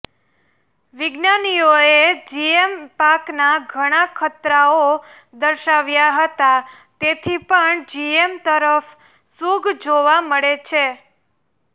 વિજ્ઞાાનીઓએ GM પાકના ઘણા ખતરાઓ દર્શાવ્યા હતા તેથી પણ જીએમ તરફ્ સુગ જોવા મળે છે